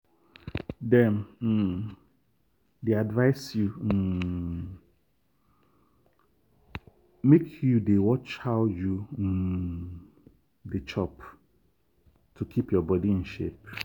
dem um dey advise you um make you dey watch how you um dey chop to keep your body in shape.